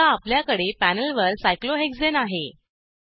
आता आपल्याकडे पॅनेल वर सायक्लोहेक्सने आहे